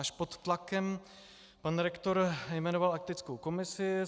Až pod tlakem pan rektor jmenoval etickou komisi.